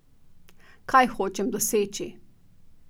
Kaj hočem doseči?